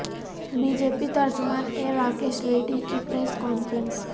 be J P ترجمان A Rakesh Reddy کی press conference